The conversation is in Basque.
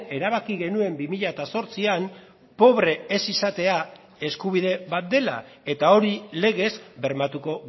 erabaki genuen bi mila zortzian pobre ez izatea eskubide bat dela eta hori legez bermatuko